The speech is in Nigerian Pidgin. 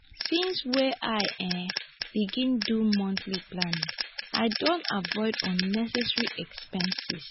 since wey i um begin do monthly planning i don avoid unnecessary expenses.